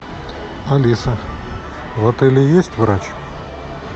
алиса в отеле есть врач